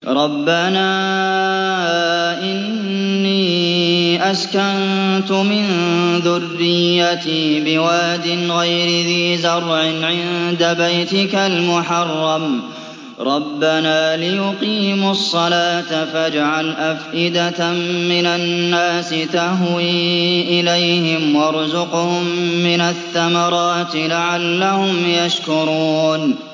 رَّبَّنَا إِنِّي أَسْكَنتُ مِن ذُرِّيَّتِي بِوَادٍ غَيْرِ ذِي زَرْعٍ عِندَ بَيْتِكَ الْمُحَرَّمِ رَبَّنَا لِيُقِيمُوا الصَّلَاةَ فَاجْعَلْ أَفْئِدَةً مِّنَ النَّاسِ تَهْوِي إِلَيْهِمْ وَارْزُقْهُم مِّنَ الثَّمَرَاتِ لَعَلَّهُمْ يَشْكُرُونَ